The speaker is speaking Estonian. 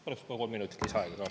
Palun kohe kolm minutit lisaaega ka.